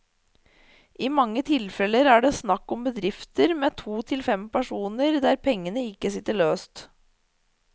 I mange tilfeller er det snakk om bedrifter med to til fem personer, der pengene ikke sitter løst.